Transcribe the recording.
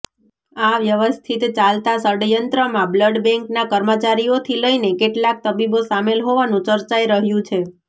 આ વ્યવસ્થીત ચાલતા ષડયંત્રમાં બ્લડ બેંકનાં કર્મચારીઓથી લઇને કેટલાક તબીબો સામેલ હોવાનું ચર્ચાઈ રહ્યું છે